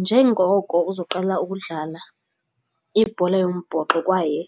Njengoko uzoqala ukudlala ibhola yombhoxo kwaye